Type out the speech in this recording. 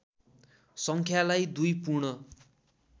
सङ्ख्यालाई दुई पूर्ण